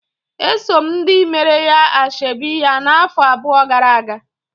Esom ndị meere ya ashebi ya na-afọ abụọ gara-aga.